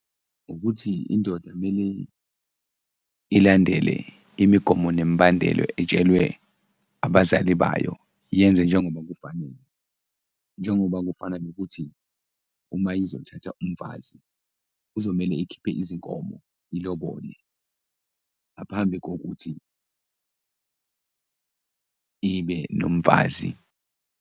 Ukuthi indoda mele ilandele imigomo nemibandelo etshelwe abazali bayo, yenze njengoba kufanele. Njengoba kufana nokuthi uma izothatha umfazi, kuzomele ikhiphe izinkomo ilobole ngaphambi kokuthi ibe nomfazi.